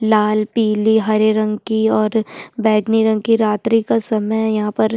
लाल पिले और हरे रंग की और बैगनी रंग की रात्रि का समय है यहाँ पर --